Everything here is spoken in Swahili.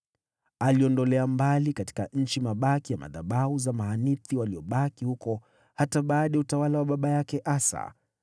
Aliondolea mbali katika nchi mahanithi wa mahali pa kuabudia miungu waliobaki huko hata baada ya utawala wa baba yake Asa.